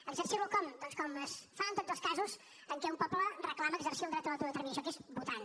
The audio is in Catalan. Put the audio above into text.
exercir lo com doncs com es fa en tots els casos en què un poble reclama exercir el dret a l’autodeterminació que és votant